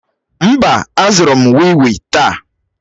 Mba, azụrụ m wii wii taa.